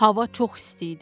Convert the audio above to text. Hava çox isti idi.